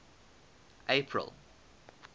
april